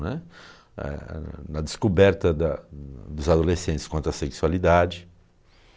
Né. Ah, na descoberta da dos adolescentes quanto à sexualidade.